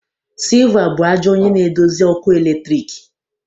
Silver bụ ajọ onye na-eduzi ọkụ eletrik